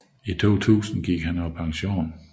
I 2000 gik han på pension